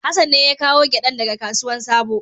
Hassan ne ya kawo giɗan da ga kasuwan sabo.